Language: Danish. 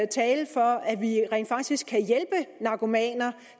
tale for at vi rent faktisk kan hjælpe narkomaner